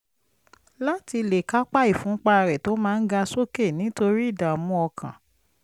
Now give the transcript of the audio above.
láti lè kápá ìfúnpá rẹ̀ tó máa ń ga sókè nítorí ìdààmú ọkàn